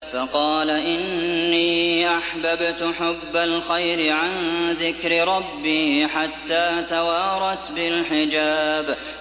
فَقَالَ إِنِّي أَحْبَبْتُ حُبَّ الْخَيْرِ عَن ذِكْرِ رَبِّي حَتَّىٰ تَوَارَتْ بِالْحِجَابِ